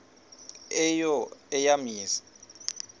eyo eya mizi